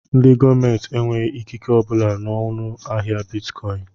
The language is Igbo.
Ndị gọọmenti enweghị ikike obula n'ọnu ahịa bịtkọin